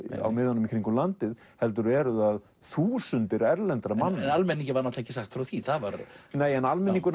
á miðunum í kringum landið heldur eru það þúsundir erlendra manna en almenningi var ekki sagt frá því nei en almenningur